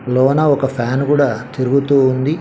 లోన ఒక ఫ్యాన్ కూడా తిరుగుతూ ఉంది.